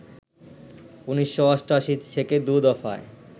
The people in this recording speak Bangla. ১৯৮৮ থেকে দু দফায়